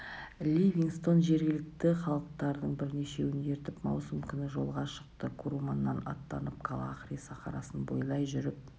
ливингстон жергілікті халықтардың бірнешеуін ертіп маусым күні жолға шықты куруманнан аттанып калахари сахарасын бойлай жүріп